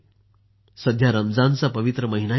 सध्या रमझानचा पवित्र महिनाही सुरु आहे